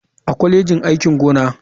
A kwalejin aikin gona.